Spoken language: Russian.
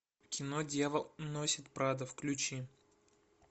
кино дьявол носит прада включи